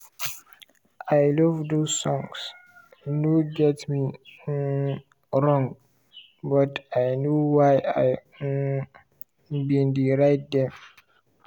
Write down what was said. "i love those songs - no get me um wrong - but i know why i um bin dey write dem